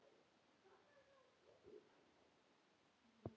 Hvernig verður þetta allt?